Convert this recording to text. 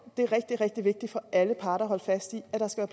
det er rigtig rigtig vigtigt for alle parter at holde fast i at der skal